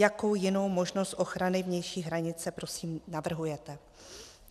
Jakou jinou možnost ochrany vnější hranice prosím navrhujete?